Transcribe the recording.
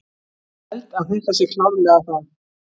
Held að þetta sé klárlega það.